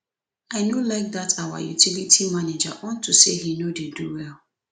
i no like dat our utility manager unto say he no dey do well